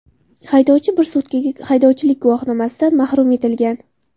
Haydovchi bir sutkaga haydovchilik guvohnomasidan mahrum etilgan.